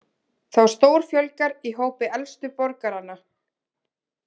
Þá stórfjölgar í hópi elstu borgaranna